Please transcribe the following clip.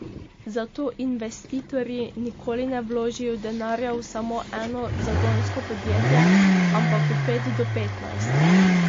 Zato investitorji nikoli ne vložijo denarja v samo eno zagonsko podjetje, ampak v pet do petnajst.